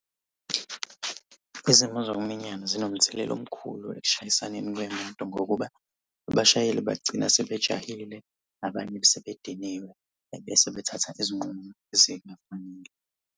Izimo zokuminyana zinomthelela omkhulu ekushayisaneni kwey'moto ngokuba abashayeli bagcina sebejahile. Abanye sebediniwe, ebese bethatha izinqumo ezingafanele.